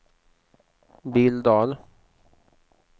Billdal